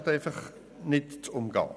Das ist nicht zu umgehen.